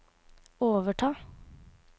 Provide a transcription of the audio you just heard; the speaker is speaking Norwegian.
overta